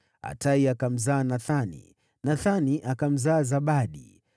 Atai akamzaa Nathani, Nathani akamzaa Zabadi,